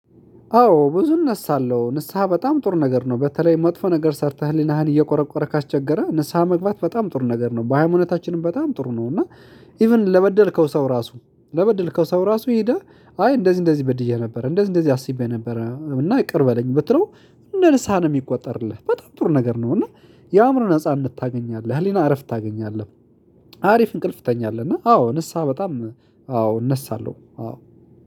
አዎ ብዙእነሳልሁ ንስሃ በጣም ጥር ነገር ነው በተለይ መጥፎ ነገር ሰርተህ ህሌናህን እየቆረቆረ ካስቸገረ ንስሃ መግባት በጣም ጥሩ ነገር ነው። በሃይማኖታችንም በጣም ጥሩ ነው። እና ኢቭን ለበደልከው ሰው ራሱ ለበደልከው ሰው ራሱ ሄደ አይ እንደዚህ እንደዚህ በድየህ ነበር እንደዚህ እንደዚህ አስቤ ነበር። እና ይቅር በለኝ ብትለው እንደ ልሳን የሚቆጠርልህ በጣም ቱር ነገር ነው። እና የአእምሮ ነጻነት ታገኛለህ የህሊና አረፍት ታገኛለህ። አሪፍ እንቅልፍ ትተኛለህ። እና አዎ ንስሃ በጣም አዎ እነሳለሁ አዎ።